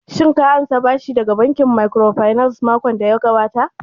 Shin ka ansa bashi daga bankin microfinance makon daya gabata?